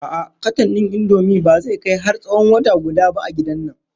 A'a katon ɗin Indomie ba zai kai har tsawon wata guda ba a gidan nan.